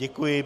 Děkuji.